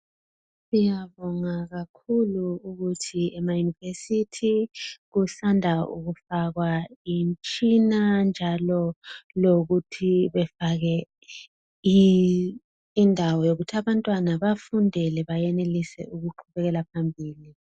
Ngiyabonga kakhulu ukuthi ema yunivesithi kusanda kufakwa imtshina njalo lokuthi befake indawo yokuthi abantwana bafundele bayenelisa ukuqhubekela phambili.